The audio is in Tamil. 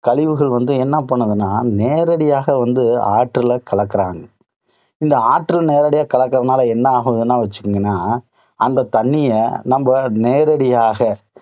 கழிவுகள் வந்து என்ன பண்ணுதுன்னா, நேரடியாக வந்து ஆற்றுல கலக்குறாங்க. இந்த ஆற்றுல நேரடியாக காலக்கறதுனால என்ன ஆகுதுன்னு வச்சீங்கன்னா, அந்த தண்ணிய நம்ம நேரடியாக